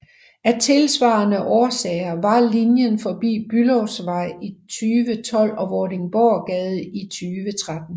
Af tilsvarende årsager var linjen forbi Bülowsvej i 2012 og Vordingborggade i 2013